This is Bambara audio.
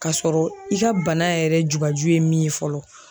K'a sɔrɔ i ka bana yɛrɛ jugaju ye min ye fɔlɔ